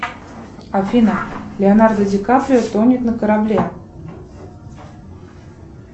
афина леонардо ди каприо тонет на корабле